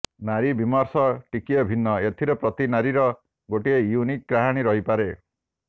ନାରୀ ବିମର୍ଶ ଟିକିଏ ଭିନ୍ନ ଏଥିରେ ପ୍ରତି ନାରୀର ଗୋଟିଏ ୟୁନିକ୍ କାହାଣୀ ରହିପାରେ